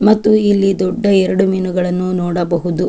ಮತ್ತು ಇಲ್ಲಿ ದೊಡ್ಡ ಎರಡು ಮೀನುಗಳನ್ನು ನೋಡಬಹುದು.